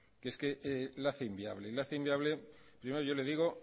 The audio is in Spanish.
que es que la hace inviable la hace inviable primero yo le digo